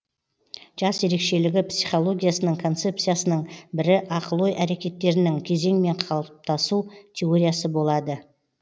жас ерекшелігі психологиясының концепциясының бірі ақыл ой әрекеттерінің кезеңмен қалыптасу теориясы болады